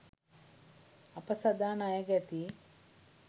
අප සදා ණයගැතියි